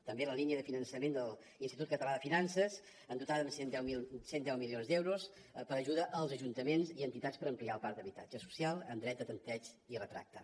també la línia de finançament de l’institut català de finances dotada amb cent i deu milions per a ajuda als ajuntaments i entitats per ampliar el parc d’habitatge social amb dret a tempteig i retracte